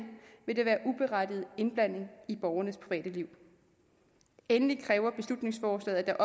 vil det være uberettiget indblanding i borgernes private liv endelig kræver beslutningsforslaget at der